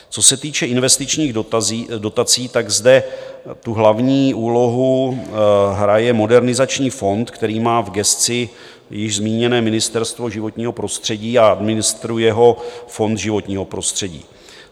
Co se týče investičních dotací, tak zde tu hlavní úlohu hraje Modernizační fond, který má v gesci již zmíněné Ministerstvo životního prostředí a ministruje ho Fond životního prostředí.